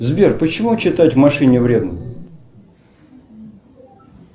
сбер почему читать в машине вредно